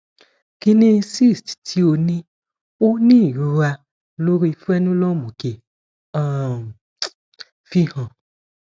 kini cyst ti o ni o ni irora lori frenulum oke um fihan